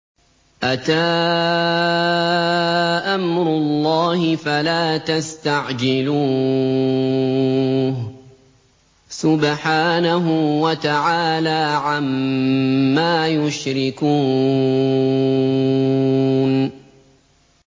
أَتَىٰ أَمْرُ اللَّهِ فَلَا تَسْتَعْجِلُوهُ ۚ سُبْحَانَهُ وَتَعَالَىٰ عَمَّا يُشْرِكُونَ